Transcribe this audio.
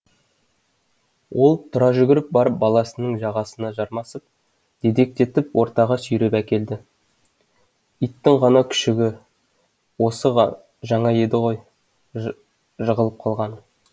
ол тұра жүгіріп барып баласының жағасына жармасып дедектетіп ортаға сүйреп әкелді иттың ғана күшігі осы жаңа еді ғой жығылып қалғаның